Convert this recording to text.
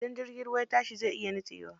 Idan jirgin ruwa ya fashe zai iya nitsewa.